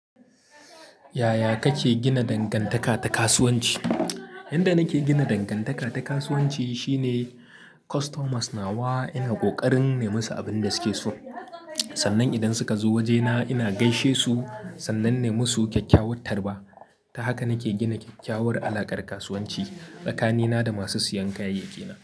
Yaya kake gina dangantaka ta kasuwanci? Inda nake gina dangantaka ta kasuwanci shine customers na wa ina ƙoƙarin nemasu abin da suke so. Sannan idan suka zo waje na ina gaishe su, sannan na yi musu kyakkyawar tarba. Ta haka nake gina kyakkyawar alakar kasuwanci tsakanina da masu siyan kayayyakina.